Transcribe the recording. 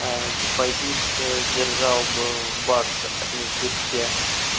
депозит держал бы в баксах а ни в битке